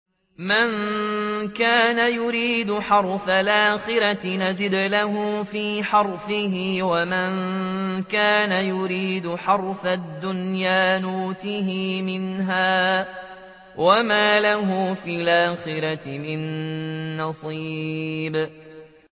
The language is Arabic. مَن كَانَ يُرِيدُ حَرْثَ الْآخِرَةِ نَزِدْ لَهُ فِي حَرْثِهِ ۖ وَمَن كَانَ يُرِيدُ حَرْثَ الدُّنْيَا نُؤْتِهِ مِنْهَا وَمَا لَهُ فِي الْآخِرَةِ مِن نَّصِيبٍ